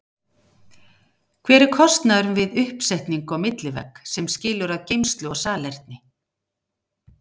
Hver er kostnaðurinn við uppsetningu á millivegg sem skilur að geymslu og salerni?